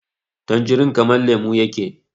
tanjirin kamar lemo yake